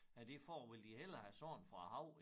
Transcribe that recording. Ja det for vil de hellere have sand fra æ hav